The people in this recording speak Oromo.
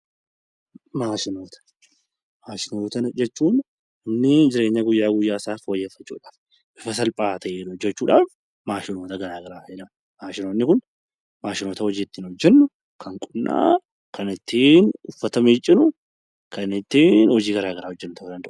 Maashinoota jechuun namni jireenya guyyaa guyyaa isaa fooyyeffachuu dhaaf, bifa salphaa ta'een hojjechuu dhaaf maashinoota gara garaa fayyadama. Maashinoonni kun maashinoota hojii ittiin hojjennu, kan qoonnaa, kan ittiin uffata miiccinu, kan ittiin hojii gara garaa hojjennu ta'uu danda'a.